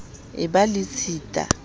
e ba le tshita e